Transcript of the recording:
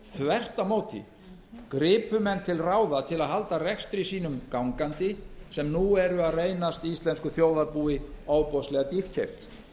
á móti gripu menn til ráða til að halda rekstri sínum gangandi sem nú eru að reynast íslensku þjóðarbúi ofboðslega dýrkeypt